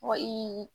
Wa i